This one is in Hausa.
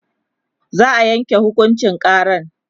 za'a Yanke hukuncin karan